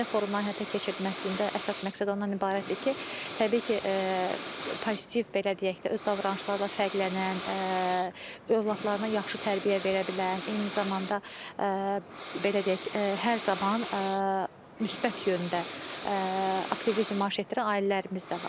Ailə forumların həyata keçirilməsində əsas məqsəd ondan ibarətdir ki, təbii ki, pozitiv belə deyək də, öz davranışlarla fərqlənən, övladlarına yaxşı tərbiyə verə bilən, eyni zamanda belə deyək, hər zaman müsbət yöndə aktivlik nümayiş etdirən ailələrimiz də var.